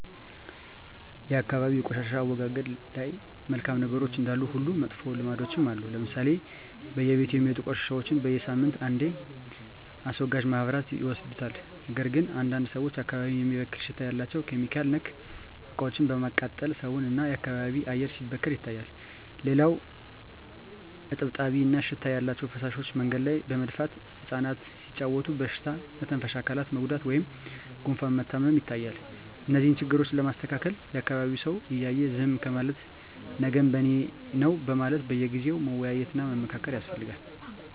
የአካባቢ የቆሻሻ አወጋገድ ላይ መልካም ነገሮች እንዳሉ ሁሉ መጥፎ ልምዶችም አሉ ለምሳሌ በየቤቱ የሚወጡ ቆሻሻዎች በሳምንት አንዴ አስወጋጅ ማህበራት ይወስዱታል ነገር ግን አንዳንድ ሰዎች አካባቢን የሚበክል ሽታ ያላቸው (ኬሚካል)ነክ እቃዎችን በማቃጠል ሰውን እና የአካባቢ አየር ሲበከል ይታያል። ሌላው እጥብጣቢ እና ሽታ ያላቸው ፍሳሾች መንገድ ላይ በመድፋት እፃናት ሲጫዎቱ በሽታ መተንፈሻ አካላት መጎዳት ወይም ጉፋን መታመም ይታያል። እነዚህን ችግሮች ለማስተካከል የአካቢዉ ሰው እያየ ዝም ከማለት ነገም በኔነው በማለት በየጊዜው መወያየት እና መመካከር ያስፈልጋል።